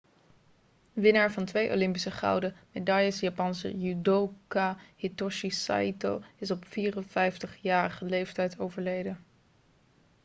winnaar van twee olympische gouden medailles japanse judoka hitoshi saito is op 54-jarige leeftijd overleden